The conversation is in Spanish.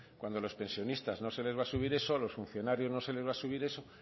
cuando a los pensionistas no se les va subir eso a los funcionarios no se les va a subir eso